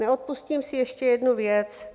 Neodpustím si ještě jednu věc.